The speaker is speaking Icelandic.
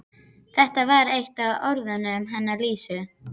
Þetta var eitt af orðunum hennar Lísu.